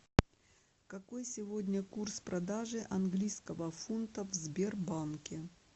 какой сегодня курс продажи английского фунта в сбербанке